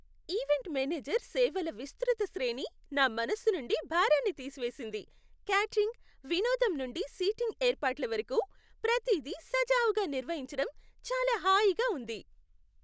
Event manager సేవల విస్తృత శ్రేణి నా మనస్సు నుండి భారాన్ని తీసివేసింది, క్యాటరింగ్, వినోదం నుండి సీటింగ్ ఏర్పాట్ల వరకు, ప్రతిదీ సజావుగా నిర్వహించడం చాలా హాయిగా ఉంది.